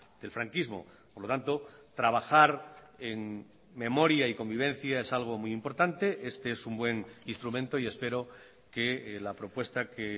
del franquismo por lo tanto trabajar en memoria y convivencia es algo muy importante este es un buen instrumento y espero que la propuesta que